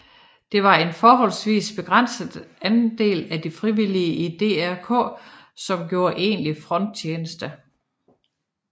Det var en forholdsvis begrænset andel af de frivillige i DRK som gjorde egentlig fronttjeneste